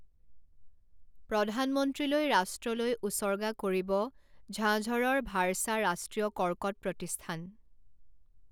প্ৰধানমন্ত্ৰীলৈ ৰাষ্ট্ৰলৈ উচৰ্গা কৰিব ঝাঝৰৰ ভাড়চা ৰাষ্ট্ৰীয় কৰ্কট প্ৰতিষ্ঠান